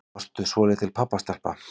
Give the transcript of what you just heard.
Varstu svolítil pabbastelpa?